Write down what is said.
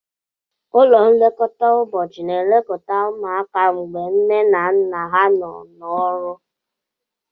Ụlọ nlekọta ụbọchị na-elekọta ụmụaka mgbe nne na nna ha nọ n'ọrụ.